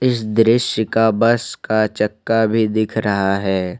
इस दृश्य का बस का चक्का भी दिख रहा है।